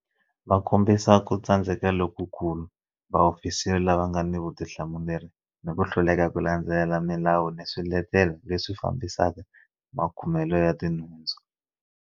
Va kombisa ku tsandzeka lokukulu ka vaofisiri lava nga ni vutihlamuleri ni ku hluleka ku landzelela milawu ni swiletelo leswi fambisaka makumelo ya tinhundzu.